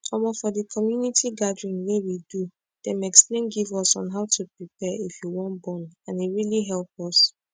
omo for the community gathering wey we do dem explain give us on how to prepare if you wan born and e really help us